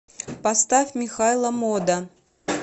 поставь михайло мода